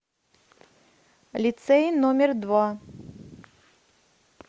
лицей номер два